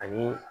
Ani